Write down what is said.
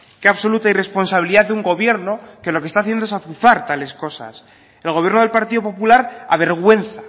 qué absoluta irresponsabilidad de un gobierno que lo que está haciendo es azuzar tales cosas el gobierno del partido popular avergüenza